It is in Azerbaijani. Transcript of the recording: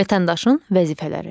Vətəndaşın vəzifələri.